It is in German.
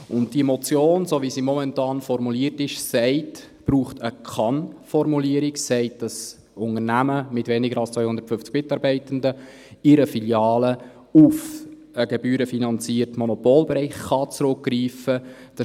Und diese Motion braucht, so wie sie momentan formuliert ist, eine Kann-Formulierung und sagt, dass Unternehmungen mit weniger als 250 Mitarbeitenden in einer Filiale auf den gebührenfinanzierten Monopolbereich zurückgreifen können.